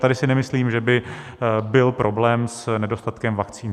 Tady si nemyslím, že by byl problém s nedostatkem vakcín.